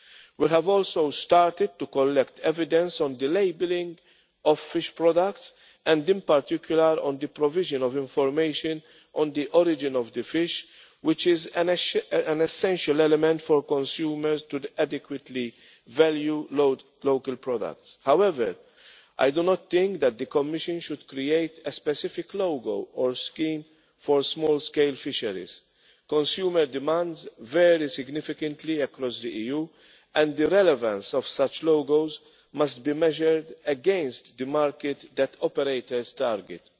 We have also started to collect evidence on the labelling of fish products and in particular on the provision of information on the origin of the fish, which is an essential element for consumers to adequately value local products. However, I do not think that the Commission should create a specific logo for small scale fisheries. Consumer demands varies significantly across the EU, and the relevance of such logos must be measured against the market that operators